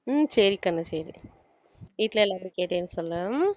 உம் சரி கண்ணு சரி வீட்டுல எல்லார்கிட்டயும் கேட்டேன்னு சொல்லு